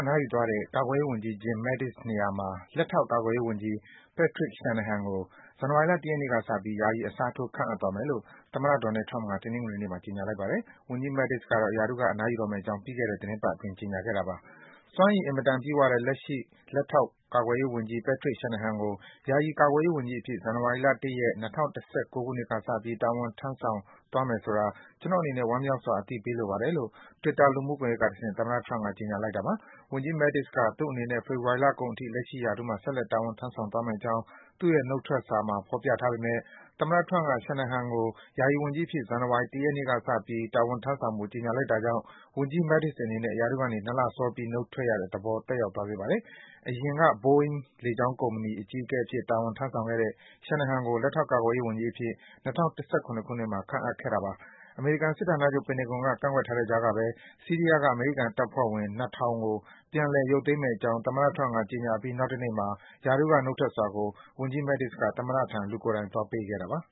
နားယူသွားတဲ့ ကာကွယ်ရေးဝန်ကြီး Jim Mattis နေရာမှာ လက်ထောက် ကာကွယ်ရေးဝန်ကြီး Patrick Shanahan ကို ဇန်နဝါရီလ ၁ ရက်နေ့ကစပြီး ယာယီ အစားထိုး ခန့်အပ်သွားမယ်လို့ သမ္မတ Donald Trump က တနင်္ဂနွေနေ့မှာ ကြေညာလိုက်ပါတယ်။ ဝန်ကြီး Mattis ကတော့ ရာထူးက အနားယူတော့မယ့်အကြောင်း ပြီးခဲ့တဲ့ သီတင်းပတ်အတွင်း ကြေညာခဲ့တာပါ။ စွမ်းရည် အင်မတန် ပြည့်ဝတဲ့ လက်ရှိ လက်ထောက် ကာကွယ်ရေးဝန်ကြီး Patrick Shanahan ကို ယာယီ ကာကွယ်ရေးဝန်ကြီးအဖြစ် ဇန်နဝါရီလ ၁ ရက်၊ ၂၀၁၉ ခုနှစ်ကစပြီး တာဝန်ထမ်းဆောင်သွားမယ်ဆိုတာ ကျနော်အနေနဲ့ ဝမ်းမြောက်စွာ အသိပေးလိုပါတယ်လို့ Twitter လူမှုကွန်ယက်ကတဆင့် သမ္မတ Trump က ကြေညာလိုက်တာပါ။ ဝန်ကြီး Mattis က သူ့အနေနဲ့ ဖေဖော်ဝါရီလကုန်အထိ လက်ရှိရာထူးမှာ ဆက်လက် တာဝန်ထမ်းဆောင်သွားမယ့်အကြောင်း သူ့ရဲ့ နုတ်ထွက်စာထဲမှာ ဖော်ပြထားပေမယ့် သမ္မတ Trump က Shanahan ကို ယာယီဝန်ကြီးအဖြစ် ဇန်ဝန်ဝါရီလ ၁ ရက်နေ့ကစပြီး တာဝန်ထမ်းဆောင်ဖို့ ကြေညာလိုက်တာကြောင့် ဝန်ကြီး Mattis အနေနဲ့ ရာထူးကနေ ၂ လစောပြီး နုတ်ထွက်ရတဲ့သဘော သက်ရောက်သွားစေပါတယ်။ အရင်က Boeing လေကြောင်းကုမ္ပဏီ အကြီးအကဲအဖြစ် တာဝန်ထမ်းဆောင်ခဲ့တဲ့ Shanahan ကို လက်ထောက် ကာကွယ်ရေးဝန်ကြီးအဖြစ် ၂၀၁၇ ခုနှစ်မှာ ခန့်အပ်ခဲ့တာပါ။ အမေရိကန် စစ်ဌာနချုပ် ပင်တဂွန်က ကန့်ကွက်နေတဲ့ကြားကဘဲ ဆီးရီးယားက အမေရိကန် တပ်ဖွဲ့ဝင် ၂,၀၀၀ ကို ပြန်လည် ရုပ်သိမ်းမယ့်အကြောင်း သမ္မတ Trump က ကြေညာအပြီး နောက်တနေ့မှာ ရာထူးက နုတ်ထွက်စာကို Mattis က သမ္မတထံ လူကိုယ်တိုင်သွားပေးခဲ့တာပါ